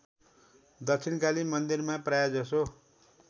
दक्षिणकाली मन्दिरमा प्रायजसो